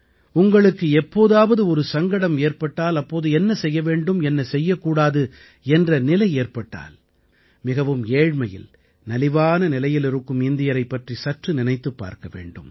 உங்களுக்கு எப்போதாவது ஒரு சங்கடம் ஏற்பட்டால் அப்போது என்ன செய்ய வேண்டும் என்ன செய்யக் கூடாது என்ற நிலை ஏற்பட்டால் மிகவும் ஏழ்மையில் நலிவான நிலையில் இருக்கும் இந்தியரைப் பற்றி சற்று நினைத்துப் பார்க்க வேண்டும்